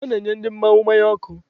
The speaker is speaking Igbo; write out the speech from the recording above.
A na-enye ndị mmanwụ mmanya ọkụ.